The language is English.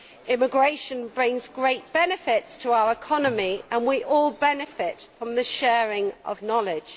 Immigration brings great benefits to our economy, and we all benefit from this sharing of knowledge.